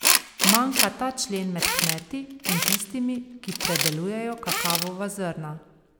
Manjka ta člen med kmeti in tistimi, ki predelujejo kakavova zrna.